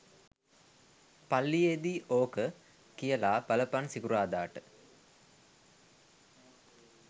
පල්ලියේදී ඕක කියල බලපන් සිකුරාදාට.